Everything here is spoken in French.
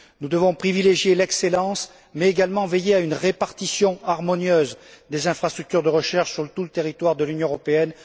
Nous devons privilégier l'excellence mais également veiller à une répartition harmonieuse des infrastructures de recherche sur tout le territoire de l'Union européenne.